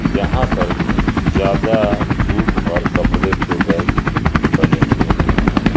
जहां पर ज्यादा जूट और कपड़े के बैग बने हुए नजर आए।